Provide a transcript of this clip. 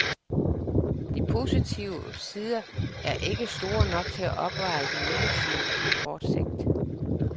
De positive sider er ikke store nok til at opveje de negative på kort sigt.